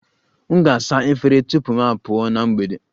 M ga-asa efere tupu m pụọ na mgbede